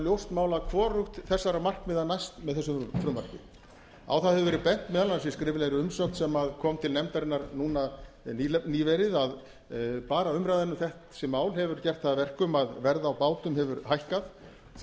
ljóst mál að hvorugt þessara markmiða næst með þessu frumvarpi á það hefur verið bent meðal annars í skriflegri umsögn sem kom til nefndarinnar núna nýverið að bara umræðan um þessi mál hefur gert það að verkum að verð á bátum hefur hækkað því